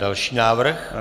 Další návrh.